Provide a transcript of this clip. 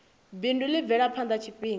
bindu ḽi bvele phanḓa tshifhinga